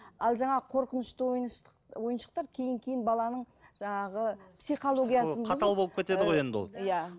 ал жаңағы қорқынышты ойыншықтар кейін кейін баланың жаңағы психологиясын қатал болып кетеді ғой енді ол иә